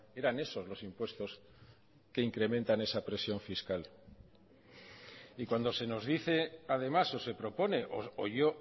eran esos los impuestos que incrementan esa presión fiscal y cuando se nos dice además o se propone o yo